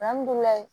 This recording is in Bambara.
Alihamudulila